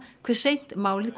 hve seint málið